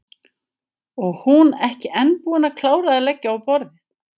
Og hún ekki enn búin að klára að leggja á borðið.